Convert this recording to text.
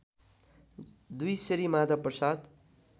२ Shri Madhav Prasad